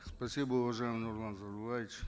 спасибо уважаемый нурлан зайроллаевич